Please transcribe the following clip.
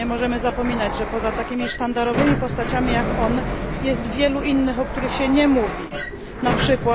Nie możemy zapominać, że poza takimi sztandarowymi postaciami jak on, jest wielu innych, o których się nie mówi, np.